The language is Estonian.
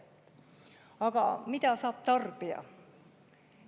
Aga mida saab tarbija?